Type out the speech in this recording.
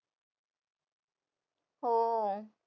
हो